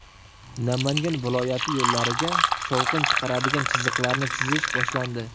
Namangan viloyati yo‘llariga shovqin chiqaruvchi chiziqlarni chizish boshlandi.